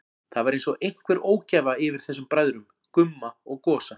Það var einsog einhver ógæfa yfir þessum bræðrum, Gumma og Gosa.